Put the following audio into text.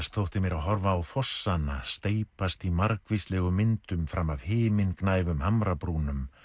þótti mér að horfa á fossana steypast í margvíslegum myndum fram af himingnæfum hamrabrúnum